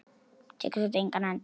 Tekur þetta engan enda?